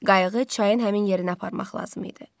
Qayıq çayın həmin yerinə aparmaq lazım idi.